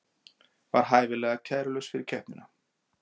Var hæfilega kærulaus fyrir keppnina